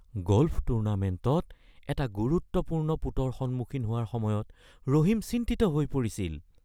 golf টুৰ্ণামেণ্টত এটা গুৰুত্বপূৰ্ণ পুটৰ সন্মুখীন হোৱাৰ সময়ত ৰহিম চিন্তিত হৈ পৰিছিল